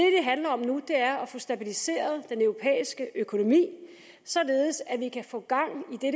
handler om nu er at få stabiliseret den europæiske økonomi således at vi kan få gang i